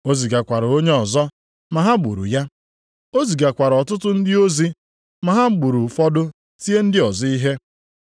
O zigakwara onye ọzọ, ma ha gburu ya. O zigakwara ọtụtụ ndị ozi, ma ha gburu ụfọdụ, tie ndị ọzọ ihe.